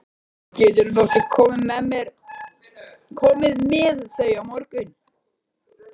Gætirðu nokkuð komið með þau á morgun?